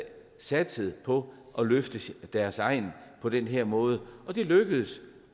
satset på at løfte deres egn på den her måde og det lykkedes